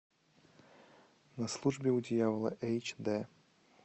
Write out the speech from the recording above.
на службе у дьявола эйч дэ